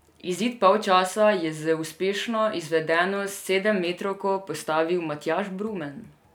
Izid polčasa je z uspešno izvedeno sedemmetrovko postavil Matjaž Brumen.